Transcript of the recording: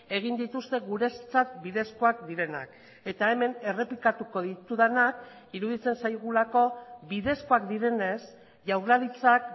egin dituzte guretzat bidezkoak direnak eta hemen errepikatuko ditudanak iruditzen zaigulako bidezkoak direnez jaurlaritzak